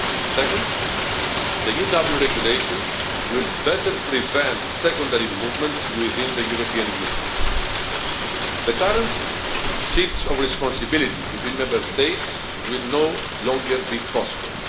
Second, the new Dublin Regulation will better prevent secondary movements within the European Union. The current shifts of responsibility between Member States will no longer be possible.